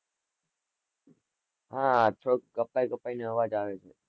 હા આ તો કપાઈ કપાઈને અવાજ આવે છે.